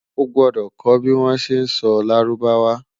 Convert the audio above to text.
o gbọdọ kò bi wọn ṣẹ sọ lárúbáwá